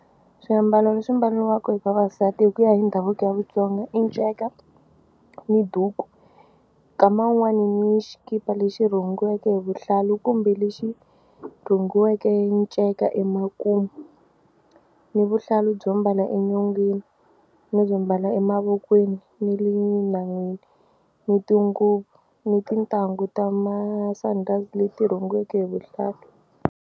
Swiambalo leswi mbaliwaka hi vavasati hi ku ya hi ndhavuko ya Vatsonga i nceka ni duku nkama wun'wani ni xikipa lexi rhungiweke hi vuhlalu kumbe lexi rhungiweke nceka emakumu ni vuhlalu byo mbala enyongeni ni byo mbala emavokweni ni le nhan'wini ni tinguvu ni tintangu ta masandhazi leti rhungiweke hi vuhlalu.